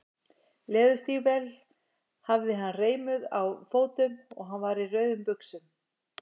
Leðurstígvél hafði hann reimuð á fótum og hann var í rauðum buxum.